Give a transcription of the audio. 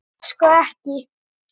Þú færð sko ekki.